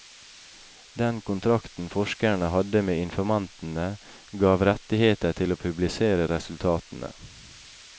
Den kontrakten forskeren hadde med informantene, gav rettigheter til å publisere resultatene.